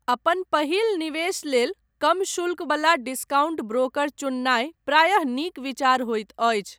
अपन पहिल निवेश लेल कम शुल्क वला डिस्काउंट ब्रोकर चुननाय प्रायः नीक विचार होइत अछि।